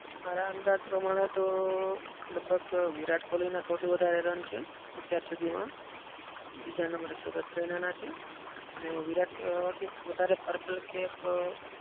મારા અંદાજ પ્રમાણે તો લગભગ વિરાટ કોહલીને સૌથી વધારે રન છે અત્યારે સુધીમાં. બીજા number એ સુરેશ રૈનાના છે. અને વિરાટ વધારે purple cap